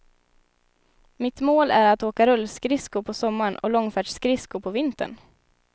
Mitt mål är att åka rullskridsko på sommaren och långfärdsskridsko på vintern.